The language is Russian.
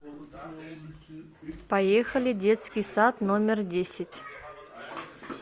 поехали детский сад номер десять